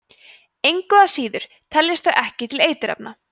engu að síður teljast þau ekki til eiturefna